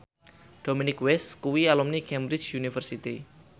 Dominic West kuwi alumni Cambridge University